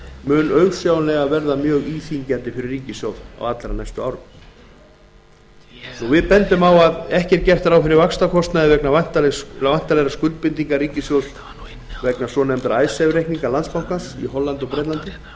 mun auðsjáanlega verða mjög íþyngjandi fyrir ríkissjóð á allra næstu árum athygli vekur að ekki er gert ráð fyrir vaxtakostnaði vegna væntanlegra skuldbindinga ríkissjóðs vegna icesave reikninga landsbankans í hollandi og bretlandi